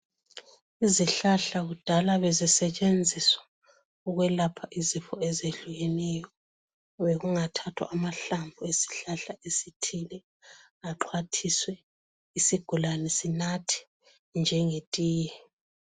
Izihlahla kudala bezisetshenziswa ukwelapha izifo ezehlukeneyo. Bekungathathwa amahlamvu esihlahla esithile axhwathiswe isigulane sinathe njenge tiye .